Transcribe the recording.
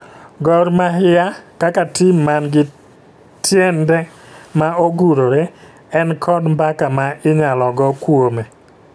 Gor mahia kaka tim man gi tiende ma ogurore ,en kod mbaka ma inyalo go kuome